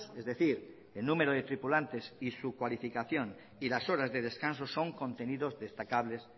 es decir el número de tripulantes y su calificación y las horas de descanso son contenidos destacables